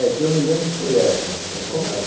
É, que eu me lembro foi essa, essa casa. Como é que...